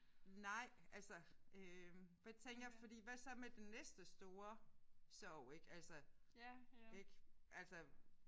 Nej altså øh for jeg tænker fordi hvad så med den næste store sorg ik altså ik altså